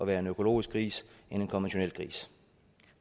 være en økologisk gris end en konventionel gris